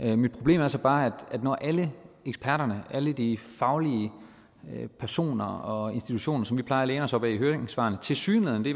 jeg mit problem er så bare at når alle eksperterne alle de faglige personer og institutioner som vi plejer at læne os op ad i høringssvarene tilsyneladende